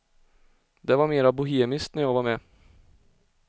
Det var mera bohemiskt när jag var med.